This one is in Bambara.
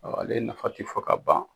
ale nafa ti fo ka ban